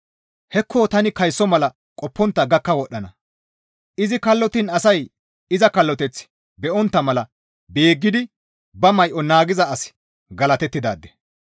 «Hekko tani kayso mala qoppontta gakka wodhdhana; izi kallottiin asay iza kalloteth be7ontta mala beeggidi ba may7o naagiza asi galatettidaade!»